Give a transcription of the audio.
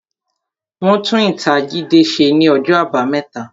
Wọn tún ítàa Jídé ṣe ní ọjọ́ àbámẹ́ta